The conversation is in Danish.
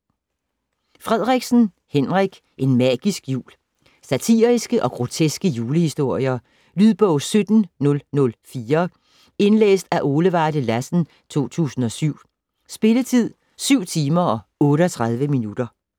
Frederiksen, Henrik: En magisk jul Satiriske og groteske julehistorier. Lydbog 17004 Indlæst af Ole Varde Lassen, 2007. Spilletid: 7 timer, 38 minutter.